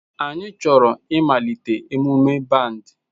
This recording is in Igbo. Anyị chọrọ ịmalite emume band